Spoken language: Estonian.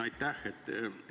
Aitäh!